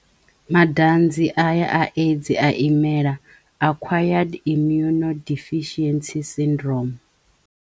Madanzi a ya a AIDS a imela acquired immunodeficiency syndrome.